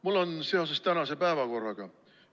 Mul on küsimus seoses tänase päevakorraga.